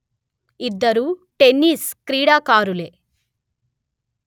ఇద్దరూ టెన్నిస్ క్రీడాకారులే